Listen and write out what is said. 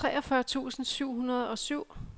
treogfyrre tusind syv hundrede og syv